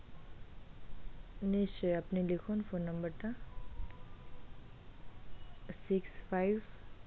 নিশ্চই আপনি লিখুন phone number টা six five,